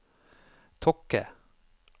Tokke